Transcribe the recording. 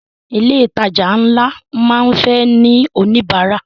Ilé ìtajà ńlá máa ń fẹ́ ní oníbárà.